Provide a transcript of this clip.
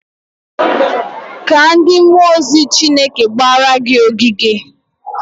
Kaa ndị mmụọ ozi Chineke gbara gị ogige.